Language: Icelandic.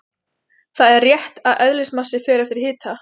Það er rétt að eðlismassi fer eftir hita.